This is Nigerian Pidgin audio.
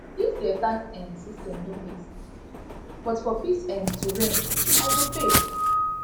dis their tax um system no make sense but for peace um to reign i go pay